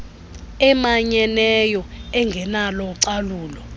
emanyeneyo engenalo ucalulo